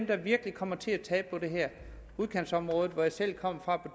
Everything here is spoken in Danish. der virkelig kommer til at tabe på det her i udkantsområder hvor jeg selv kommer